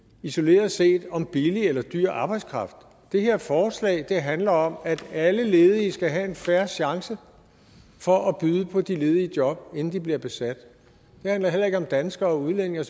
isoleret set om billig eller dyr arbejdskraft det her forslag handler om at alle ledige skal have en fair chance for at byde på de ledige job inden de bliver besat det handler heller ikke om danskere og udlændinge